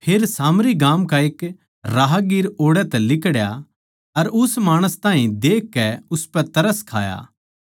फेर सामरी गाम का एक राहगीर ओड़ै तै लिकड़या अर उस माणस ताहीं देखकै उसपै तरस खाया